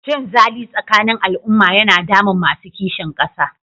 Cinzali tsakanin al'umma yana damun masu kishin ƙasa.